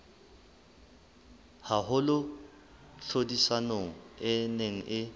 haholo tlhodisanong e neng e